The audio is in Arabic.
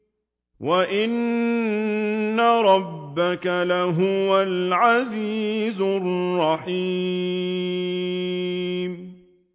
وَإِنَّ رَبَّكَ لَهُوَ الْعَزِيزُ الرَّحِيمُ